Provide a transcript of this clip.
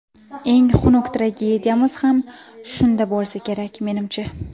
Eng xunuk tragediyamiz ham shunda bo‘lsa kerak, menimcha.